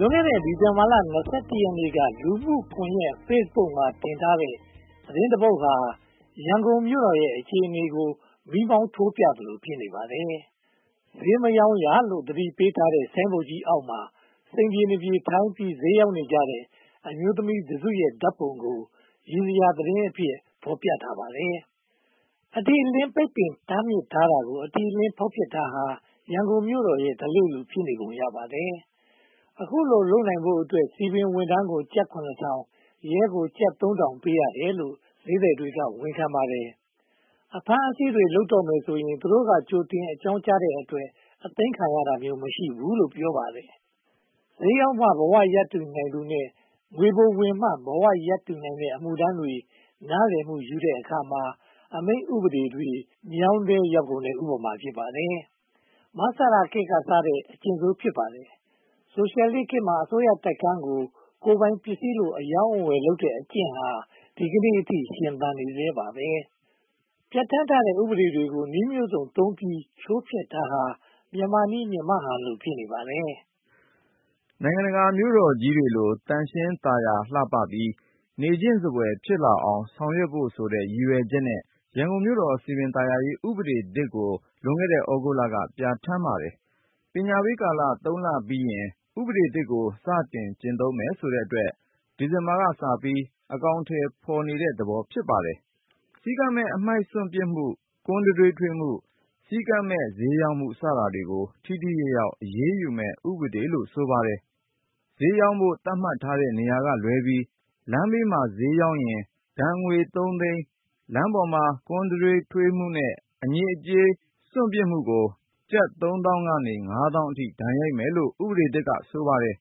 လွန်ခဲ့တဲ့ ဒီဇင်ဘာလ (၂၁) ရက်နေ့က လူမှုကွန်ရက် Facebook ပေါ်မှာ တင်ထားတဲ့ သတင်းတပုဒ်က ရန်ကုန်မြို့တော်ရဲ့ အခြေအနေကို မီးမောင်းထိုးပြသလို ဖြစ်နေပါတယ်။ "ဈေးမရောင်းရ" လို့ သတိပေးထားတဲ့ ဆိုင်ဘုတ်ကြီးအောက်မှာ စိမ်ပြေနပြေထိုင်ပြီး ဈေးရောင်းနေကြတဲ့ အမျိုးသမီးတစုရဲ့ ဓါတ်ပုံကို ရယ်စရာသတင်းအဖြစ် ဖော်ပြထားတာ ဖြစ်ပါတယ်။ အတိအလင်း ပိတ်ပင်တားမြစ်ထားတာကို အတိအလင်း ဖောက်ဖျက်တာဟာ ရန်ကုန်မြို့တော်ရဲ့ ဓလေ့လို ဖြစ်နေပုံရပါတယ်။ အခုလို လုပ်နိုင်ဖို့အတွက် စည်ပင်ဝန်ထမ်းကို ကျပ် (၇၀၀၀)၊ ရဲကို ကျပ် (၃၀၀၀) လာဘ်ပေးရတယ်လို့ ဈေးသည်တွေက ဝန်ခံပါတယ်။ အဖမ်းအဆီးလုပ်တော့မယ်ဆိုရင် သူတို့က ကြိုတင်အကြောင်းကြားတဲ့အတွက် အသိမ်းခံရတာမျိုး မရှိဘူးလို့ ပြောပါတယ်။ ဈေးရောင်းမှ ဘဝရပ်တည်နိုင်သူတွေနဲ့ ငွေပိုဝင်မှ ဘဝရပ်တည်နိုင်တဲ့ အမှုထမ်းတွေ နားလည်မှုယူတဲ့အခါမှာ အမိန့်ဥပဒေတွေ မြောင်းထဲရောက်ကုန်တဲ့ ဥပမာ ဖြစ်ပါတယ်။ မဆလခေတ်က စတင်ခဲ့တဲ့ အကျင့်ဆိုး ဖြစ်ပါတယ်။ ဆိုရှယ်လစ်ခေတ်မှာ အစိုးရတိုက်ခန်းတွေကို ကိုယ်ပိုင်ပစ္စည်းလို အရောင်းအဝယ်လုပ်တဲ့ အကျင့်ဟာ ဒီကနေအထိ ရှင်သန်နေဆဲပါ။ ပြဌာန်းထားတဲ့ ဥပဒေတွေကို နည်းမျိုးစုံသုံးပြီး ချိုးဖျက်တာဟာ မြန်မာ့နည်းမြန်မာ့ဟန်လို ဖြစ်နေပါတယ်။ နိုင်ငံတကာမြို့တော်ကြီးတွေလို သန့်ရှင်းသာယာလှပပြီး နေချင်စဖွယ် ဖြစ်လာအောင် ဆောင်ရွက်ဖို့ဆိုတဲ့ ရည်ရွယ်ချက်နဲ့ ရန်ကုန်မြို့တော်စည်ပင်သာယာရေးဥပဒေသစ်ကို လွန်ခဲ့တဲ့ သြဂုတ်လက ပြဌာန်းပါတယ်။ ပညာပေးကာလ (၃) လပြီးရင် ဥပဒေသစ်ကို စတင်ကျင့်သုံးမယ်ဆိုတဲ့အတွက် ဒီဇင်ဘာလကစပြီး အကောင်အထည်ဖော်နေတဲ့သဘော ဖြစ်ပါတယ်။ စည်းကမ်းမဲ့ အမှိုက်စွန့်ပစ်မှု၊ ကွမ်းတံတွေးထွေးမှု၊ စည်းကမ်းမဲ့ ဈေးရောင်းမှု စတာတွေကို ထိထိရောက်ရောက် အရေးယူမယ့်ဥပဒေလို့ ဆိုပါတယ်။ ဈေးရောင်းဖို့ သတ်မှတ်ထားတဲ့နေရာကလွဲပြီး လမ်းဘေးမှာ ဈေးရောင်းရင် ဒဏ်ငွေ (၃) သိန်း၊ လမ်းပေါ်မှာ ကွမ်းတံတွေးထွေးမှုနဲ့ အညစ်အကြေးစွန့်ပစ်မှုကို ကျပ် (၃) သောင်း ကနေ (၅) သောင်းအထိ ဒဏ်ရိုက်မယ်လို့ ဥပဒေသစ်က ဆိုပါတယ်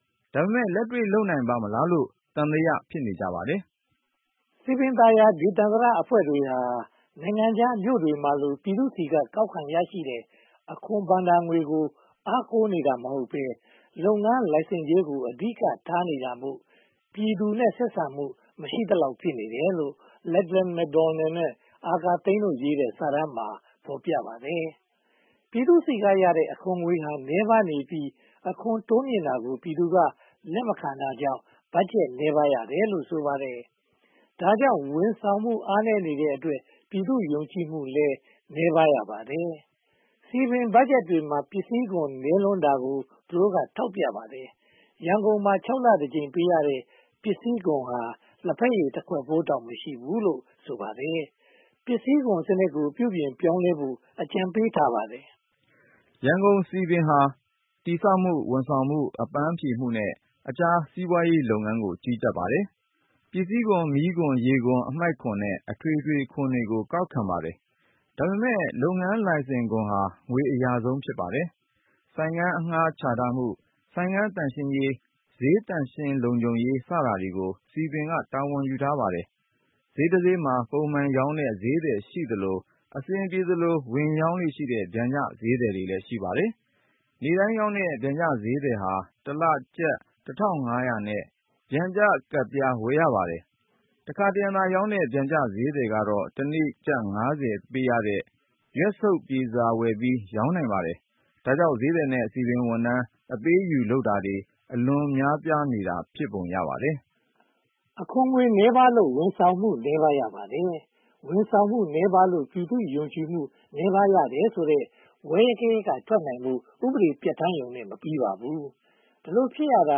။ ဒါပေမဲ့ လက်တွေ့လုပ်နိုင်ပါ့မလားလို့ သံသယ ဖြစ်နေကြပါတယ်။ စည်ပင်သာယာဒေသန္တရအဖွဲ့တွေဟာ နိုင်ငံခြားမြို့တွေမှာလို ပြည်သူတွေဆီက ကောက်ခံရရှိတဲ့ အခွန်ဘဏ္ဍာငွေကို အားကိုးနေတာမဟုတ်ဘဲ၊ လုပ်ငန်းလိုင်စင်ကြေးကို အဓိကထားနေတာမို့ ပြည်သူနဲ့ ဆက်ဆံမှု မရှိသလောက် ဖြစ်နေတယ်လို့ Lachlan McDonald နဲ့ အာကာဟိန်းတို့ ရေးသားတဲ့ စာတမ်းမှာ ဖော်ပြထားပါတယ်။ ပြည်သူဆီကရတဲ့ အခွန်ငွေဟာ အလွန်နည်းပါးပြီး အခွန်တိုးမြှင့်တာကိုလည်း လက်မခံတာကြောင့် ဘတ်ဂျက်နည်းပါးရတယ်လို့ ဆိုပါတယ်။ ဒါကြောင့် ဝန်ဆောင်မှု အားနည်းနေတဲ့အတွက် ပြည်သူ့ယုံကြည်မှုကလည်း နည်းပါးရပါတယ်။ စည်ပင်ဘတ်ဂျက်တွေမှာ ပစ္စည်းခွန်နည်းလွန်းတာကို သူတို့က ထောက်ပြပါတယ်။ ရန်ကုန်မှာ (၆) လ တကြိမ် ပေးနေရတဲ့ ပစ္စည်းခွန်ဟာ လဘက်ရညတခွက်ဖိုးလောက်တောင် မရှိဘူးလို့ ဆိုပါတယ်။ ပစ္စည်းခွန်စနစ်ကို ပြုပြင်ပြောင်းလဲဖို့ အကြံပေးထားပါတယ်။ ရန်ကုန်စည်ပင်ဟာ တည်ဆောက်မှု၊ ဝန်ဆောင်မှု၊ အပန်းဖြေမှုနဲ့ အခြားစီးပွားရေးလုပ်ငန်းတွေကို ကြီးကြပ်ပါတယ်။ ပစ္စည်းခွန်၊ မီးခွန်၊ ရေခွန်၊ အမှိုက်ခွန်နဲ့ အထွေထွေခွန်တွေကို ကောက်ခံပါတယ်။ ဒါပေမဲ့ လုပ်ငန်းလိုင်စင်ခွန်ဟာ ငွေအရဆုံး ဖြစ်နေပါတယ်။ ဆိုင်ခန်းအငှားချထားမှု၊ ဆိုင်ခန်းသန့်ရှင်းရေး၊ ဈေးသန့်ရှင်းလုံခြုံရေး စတာတွေကို စည်ပင်က တာဝန်ယူထားပါတယ်။ ဈေးတဈေးမှာ ပုံမှန်ရောင်းတဲ့ ဈေးသည်ရှိသလို၊ အဆင်ပြေသလို ဝင်ရောင်းလေ့ရှိတဲ့ ပျံကျဈေးသည်လည်း ရှိပါတယ်။ နေ့တိုင်းရောင်းတဲ့ ပျံကျဈေးသည်ဟာ တလကျပ် (၁၅၀၀) နဲ့ ပျံကျကဒ်ပြား ဝယ်ရပါတယ်။ တခါတရံသာရောင်းတဲ့ ပျံကျဈေးသည်ကတော့ တနေ့ကျပ် (၅၀) ပေးရတဲ့ ရွတ်ဆုတ်ပြေစာဝယ်ပြီး ရောင်းနိုင်ပါတယ်။ ဒါကြောင့် ဈေးသည်နဲ့ စည်ပင်ဝန်ထမ်း အပေးအယူလုပ်တာတွေ အလွန်များပြားနေတာ ဖြစ်ပုံရပါတယ်။ အခွန်ငွေနည်းပါးလို့ ဝန်ဆောင်မှု နည်းပါးရပါတယ်။ ဝန်ဆောင်မှုနည်းပါးလို့ ပြည်သူ့ယုံကြည်မှု နည်းပါးရတယ်ဆိုတဲ့ ဝဲဂယက် က ထွက်နိုင်ဖို့ ဥပဒေပြဌာန်းရုံနဲ့ မပြီးပါဘူး။ ဒီလိုဖြစ်ရတာ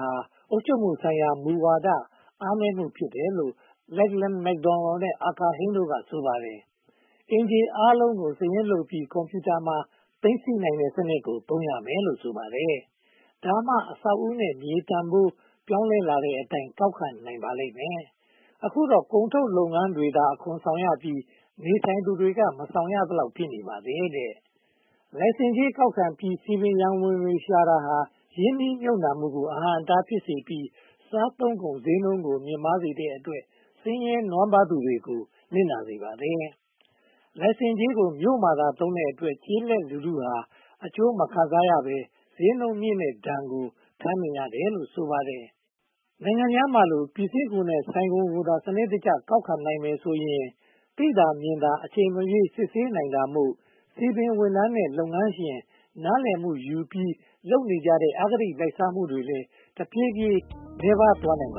ဟာ အုပ်ချုပ်မှုဆိုင်ရာမူဝါဒ အားနည်းမှု ဖြစ်တယ်လို့ Lechlan McDonald နဲ့ အာကာဟိန်းတို့က ဆိုပါတယ်။ အိမ်ခြေအားလုံးကို စာရင်းပြုစုပြီး ကွန်ပြူတာမှာ သိမ်းစည်းထားတဲ့စနစ်ကို သုံးရမယ်လို့ ဆိုပါတယ်။ ဒါမှ အဆောက်အဦးနဲ့ မြေတန်းဖိုး ပြောင်းလဲလာတဲ့အတိုင်း ကောက်ခံနိုင်ပါလိမ့်မယ်။ အခုတော့ ကုန်ထုတ်လုပ်ငန်းတွေသာ အခွန်ဆောင်ရပြီး နေထိုင်သူတွေက မဆောင်ရသလောက် ဖြစ်နေပါတယ်။ လိုင်စင်ကြေးကောက်ပြီး စည်ပင်ရန်ပုံငွေရှာတာဟာ ရင်းနှီးမြုပ်နံှမှုကို အဟန့်အတား ဖြစ်စေပြီး စားသုံးကုန်ဈေးနှုန်းကို မြင့်မားစေတဲ့အတွက် ဆင်းရဲနွမ်းပါးသူတွေကို နစ်နာစေပါတယ်။ လိုင်စင်ကြေးကို မြို့မှာသာသုံးတဲ့အတွက် ကျေးလက်လူထုဟာ အကျိုးမခံစားရဘဲ ဈေးနှုန်းမြင့်မားတဲ့ဒဏ်ကို ခံစားနေရတယ်လို့ ဆိုပါတယ်။ နိုင်ငံခြားမှာလို ပစ္စည်းခွန်နဲ့ ဆိုင်ခွန်ကိုသာ စနစ်တကျ ကောက်ခံနိုင်မယ်ဆိုရင် သိသာမြင်သာ အချိန်မရွေး စစ်ဆေးနိုင်တာမို့ စည်ပင်ဝန်ထမ်းနဲ့ လုပ်ငန်းရှင်နားလည်မှုယူပြီး လုပ်နေကြတဲ့ အဂတိလိုက်စားမှုတွေလည်း တဖြည်းဖြည်း နည်းပါးသွားနိုင်ပါ